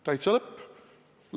Täitsa lõpp!